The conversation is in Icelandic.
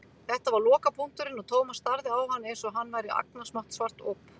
Þetta var lokapunkturinn og Thomas starði á hann einsog hann væri agnarsmátt svart op.